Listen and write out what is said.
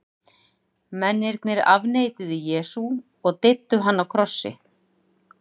mennirnir afneituðu jesú og deyddu hann á krossi